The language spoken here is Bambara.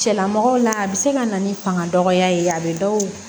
Cɛlamɔgɔw la a bɛ se ka na ni fanga dɔgɔya ye a bɛ dɔw